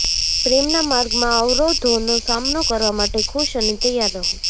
પ્રેમના માર્ગમાં અવરોધોનો સામનો કરવા માટે ખુશ અને તૈયાર રહો